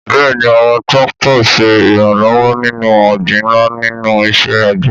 Bẹ́ẹ̀ni, àwọn tractors ń ṣe ìrànlọ́wọ́ nínú ọgbìn ńlá nínú iṣẹ́ àgbẹ̀.